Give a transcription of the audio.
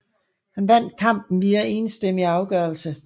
Han vandt kampen via enstemmig afgørelse